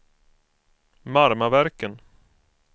Marmaverken